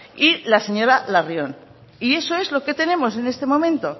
y la señora larrion y eso es lo que tenemos en este momento